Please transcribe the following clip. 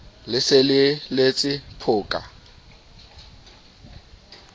le se le letse phoka